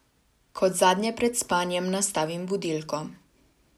Kot zadnje pred spanjem nastavim budilko.